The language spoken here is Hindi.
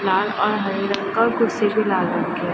लाल और हरे रंग का कुर्सी भी लाल रंग की है।